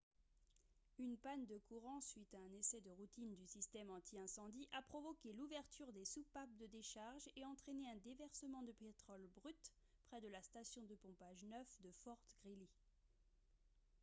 une panne de courant suite à un essai de routine du système anti-incendie a provoqué l'ouverture des soupapes de décharge et entraîné un déversement de pétrole brut près de la station de pompage 9 de fort greely